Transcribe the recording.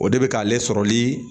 O de bɛ k'ale sɔrɔli